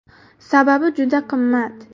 Sababi, juda qimmat.